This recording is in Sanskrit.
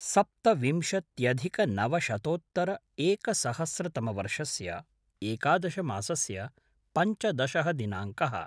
सप्तविंशत्यधिकनवशतोत्तर-एकसहस्रतमवर्षस्य एकादशमासस्य पञ्चदशः दिनाङ्कः